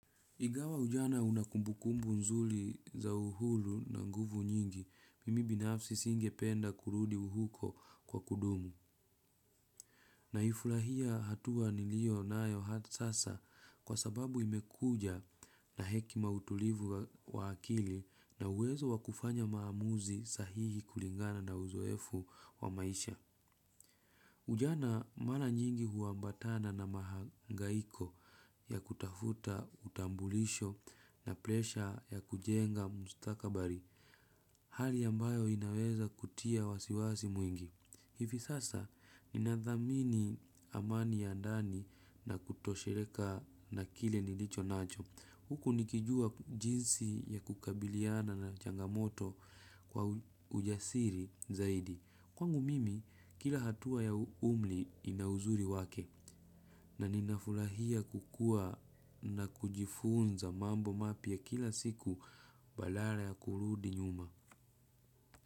Ingawa ujana una kumbukumbu nzuri za uhuru na nguvu nyingi, mimi binafsi singe penda kurudi huko kwa kudumu. Naifurahia hatua niliyo nayo hata sasa kwa sababu imekuja na hekima utulivu wa akili na uwezo wa kufanya maamuzi sahihi kulingana na uzoefu wa maisha. Ujana mara nyingi huambatana na mahangaiko ya kutafuta utambulisho na presha ya kujenga mstakabali, hali ambayo inaweza kutia wasiwasi mwingi. Hivi sasa, ni nadhamini amani ya ndani na kutosheka na kile nilicho nacho. Huku nikijua jinsi ya kukabiliana na changamoto kwa ujasiri zaidi. Kwangu mimi, kila hatua ya umri ina uzuri wake na ninafurahia kukua na kujifunza mambo mapya kila siku badala ya kurudi nyuma.